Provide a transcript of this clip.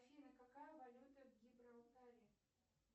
афина какая валюта в гибралтаре